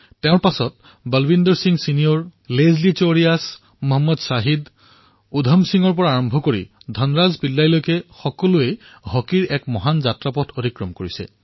তেওঁৰ পিছত বলৱিন্দৰ সিং জ্যেষ্ঠ লেচলী ক্লডিয়াছ মোহম্মদ শ্বাহিদ উধম সিঙৰ পৰা আৰম্ভ কৰি ধনৰাজ পিল্লাই পৰ্যন্ত হকীয়ে এক বৃহৎ পৰিক্ৰমা কৰিছে